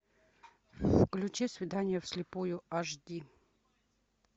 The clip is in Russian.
включи свидание в слепую аш ди